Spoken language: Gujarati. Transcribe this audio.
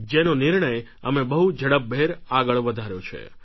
જેનો નિર્ણય અમે બહુ ઝડપભેર આગળ વધાર્યો છે